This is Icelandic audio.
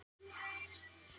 Ég fer ekki ofan af því.